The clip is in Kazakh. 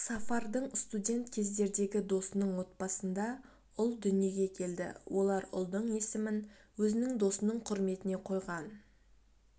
сафардың студент кездердегі досының отбасында ұл дүниеге келді олар ұлдың есімін өзінің досының құрметіне қойған